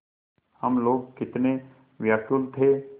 हम लोग कितने व्याकुल थे